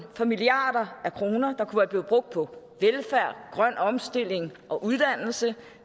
for milliarder af kroner der kunne have været brugt på velfærd grøn omstilling og uddannelse